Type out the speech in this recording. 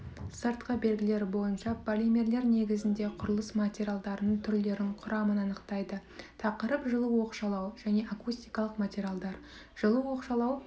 сыртқы белгілері бойынша полимерлер негізінде құрылыс материалдарының түрлерін құрамын анықтайды тақырып жылу оқшаулау және акустикалық материалдар жылу оқшаулау